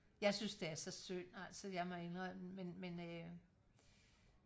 jeg synes det er så synd altså jeg må indrømme men men øh